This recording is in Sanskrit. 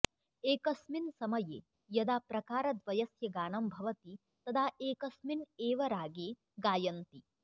एकस्मिन् समये यदा प्रकारद्वयस्य गानं भवति तदा एकस्मिन् एव रागे गायन्ति